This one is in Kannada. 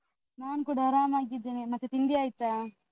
ನಾನ್ ಕೂಡ ಆರಾಮಾಗಿದ್ದೇನೆ. ಮತ್ತೆ ತಿಂಡಿ ಆಯ್ತಾ?